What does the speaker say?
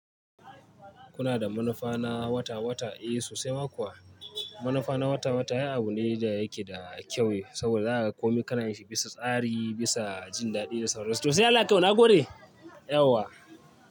Kuna da manufa na wata-wata, eh sosai ma kuwa. Manufa na wata-wata ai abu ne da yake da kyau saboda za a komai kanayin shi bisa tsari, bisa jin daɗi da sauransu. To sai Allah ya kaimu nagode, yauwa.